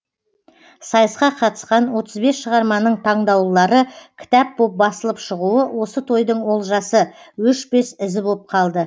сайысқа қатысқан отыз бес шығарманың таңдаулылары кітап боп басылып шығуы осы тойдың олжасы өшпес ізі боп қалды